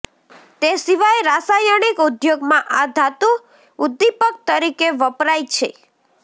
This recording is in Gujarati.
તે સિવાય રાસાયણિક ઉદ્યોગમાં આ ધાતુ ઉદ્દીપક તરીકે વપ્રાય છે